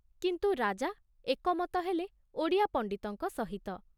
କିନ୍ତୁ ରାଜା ଏକମତ ହେଲେ ଓଡ଼ିଆ ପଣ୍ଡିତଙ୍କ ସହିତ ।